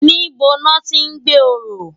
Nibó lòti n gbé óró?